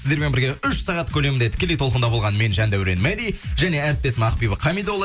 сіздермен бірге үш сағат көлемінде тікелей толқында болған мен жандәурен мәди және әріптесім ақбибі хамидолла